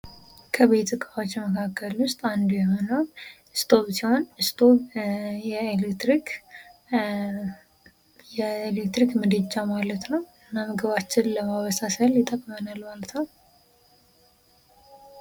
ከቤት እቃዋች መካከል ውስጥ አንዱ የሆነው ስቶፍ ሲሆን ስቶፍ የኤሌክትሪክ ምድጃ ማለት ነው ምግባችንን ለማበሳሰል ይጠቅመናል ማለት ነው ::